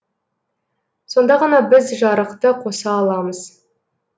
сонда ғана біз жарықты қоса аламыз